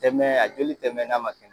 Tɛ mɛɛ a joli tɛ mɛɛ n'a ma suma